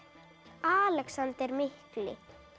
Alexander mikli